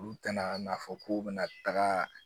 Olu tɛna n'a fɔ k'u bɛna taga